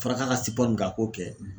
Fɔra ka k'a min kɛ a k'o kɛ .